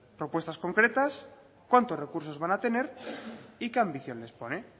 propuestas concretas cuántos recursos van a tener y qué ambición les pone